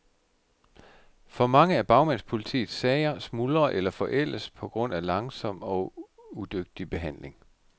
For mange af bagmandspolitiets sager smuldrer eller forældes på grund af langsom og udygtig behandling.